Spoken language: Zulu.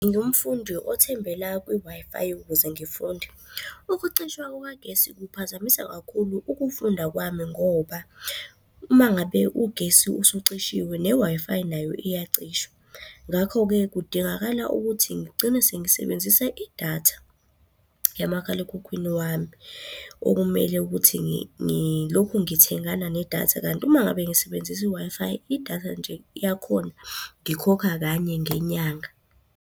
Ngingumfundi othembela kwi-Wi-Fi ukuze ngifunde. Ukucishwa kukagesi kuphazamisa kakhulu ukufunda kwami ngoba uma ngabe ugesi usucishiwe ne-Wi-Fi nayo iyacisha. Ngakho-ke kudingakala ukuthi ngigcine sengisebenzisa idatha yamakhalekhukhwini wami okumele ukuthi ngilokhu ngithengana nedatha. Kanti uma ngabe ngisebenzisa i-Wi-Fi, idatha nje yakhona, ngikhokha kanye ngenyanga.